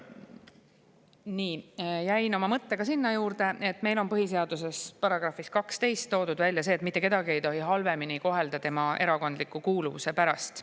Nii, jäin oma mõttega sinna, et meil on põhiseaduse §‑s 12 toodud välja see, et mitte kedagi ei tohi halvemini kohelda tema erakondliku kuuluvuse pärast.